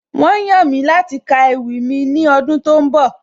Wọ́n yàn mí láti ka ewì mi ní ọdún tó ń bọ̀